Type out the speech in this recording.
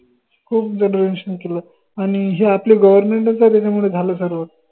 खूप donation केलं आनि हे आपलं government च आहे त्याच्या मुडे झालं सर्व